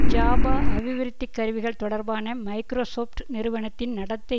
Java அபிவிருத்திக் கருவிகள் தொடர்பான மைக்ரோசொப்ட் நிறுவனத்தின் நடத்தை